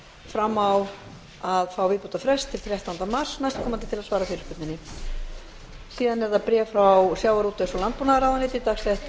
fram á að fá viðbótarfrest til þrettánda mars næstkomandi til að svara fyrirspurninni síðan er það bréf frá sjávarútvegs og landbúnaðarráðuneyti dagsett